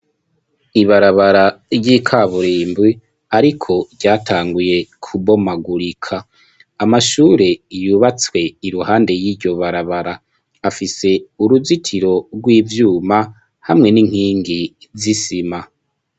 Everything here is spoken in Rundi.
Ibarabara ry'ikaburimbwi, ariko ryatanguye kubomagurika amashure iyubatswe iruhande y'iryo barabara afise uruzitiro rw'ivyuma hamwe n'inkingi zisima.